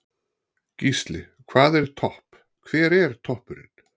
Gísli: Hvað er topp, hver er toppurinn?